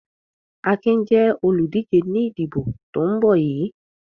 Akin jẹ́ olùdíje ní ìdìbò tó ń bọ̀ yìí.